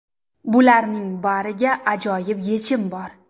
Bularning bariga ajoyib yechim bor!